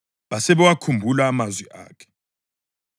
Basebewakhumbula amazwi akhe.